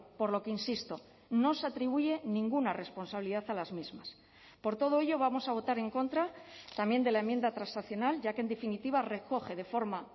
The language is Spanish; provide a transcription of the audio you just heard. por lo que insisto no se atribuye ninguna responsabilidad a las mismas por todo ello vamos a votar en contra también de la enmienda transaccional ya que en definitiva recoge de forma